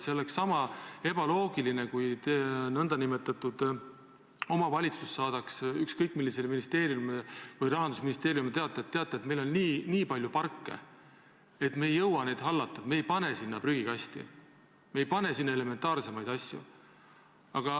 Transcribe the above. Sama ebaloogiline oleks, kui omavalitsus saadaks ükskõik millisele ministeeriumile, näiteks Rahandusministeeriumile teate, et meil on nii palju parke, me ei jõua neid hallata, ja me ei pane neisse prügikaste ja muid elementaarseid asju.